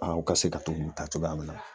aw ka se ka to k'u ta cogoya min na.